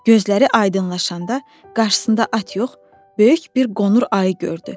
Gözləri aydınlaşanda qarşısında at yox, böyük bir qonur ayı gördü.